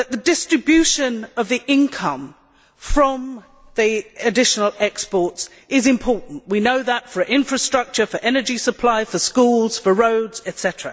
Distribution of the income from the additional exports is important we know that for infrastructure, for energy supplies, for schools, for roads, etc.